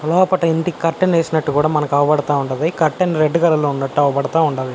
లోపట ఇంటికి కర్టన్ వేసినట్టు కూడా మనకి అవుపడతా ఉండది. కర్టన్ రెడ్ కలర్ లో ఉన్నట్టు అవుపడతా ఉండాది.